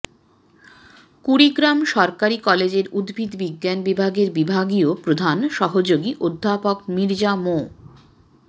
কুড়িগ্রাম সরকারি কলেজের উদ্ভিদ বিজ্ঞান বিভাগের বিভাগীয় প্রধান সহযোগী অধ্যাপক মীর্জা মো